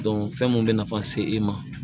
fɛn mun bɛ nafa se e ma